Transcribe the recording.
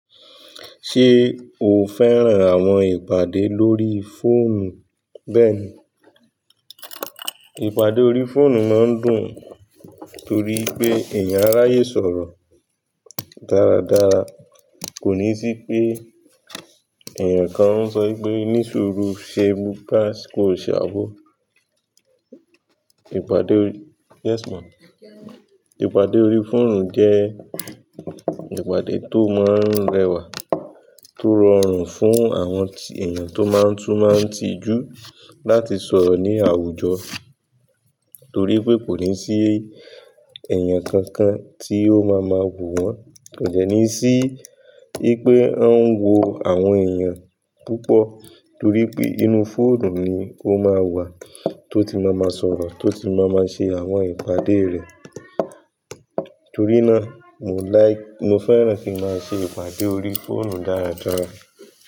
Ṣé o fẹ́ràn àwọn ìpàdé lórí fóònù? Bẹ́ẹ̀ni, ìpàdé orí fóònù máa ń dùn torí pé èèyàn á ráyè sọ̀rọ̀ dáradára. Kò ní sí pé èèyàn kan ó ń sọ wípé ní sùúrù ṣe báyìí kó ṣe àbọ. Ìpàdé orí, yes ma. Ìpàdé orí fóònù jẹ́ ìpàdé tó máa n rọrun, tó rọrùn fún àwọn èèyàn tó máa n tún máa n tí jú láti sọrọ ní àwùjọ, t'ori pé kò ní sí èèyàn kan-kan tí o máa má wò wọn. Kò dẹ́ní sí ní pé ó ń wo àwọn èèyàn púpọ̀ torí pé ínú fóònù ni ó máa wà tó ti máa ma sọ̀rọ̀, tó ti máa máa ṣe àwọn ìpàdé rẹ̀. Torí náà, mo láì, mo fẹ́ràn kí n máa ṣe ìpàdé orí fóònù dáradára.